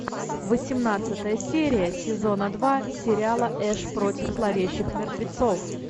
восемнадцатая серия сезона два сериала эш против зловещих мертвецов